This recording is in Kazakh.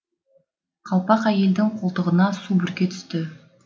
қалпақ әйелдің қолтығына су бүрке түсті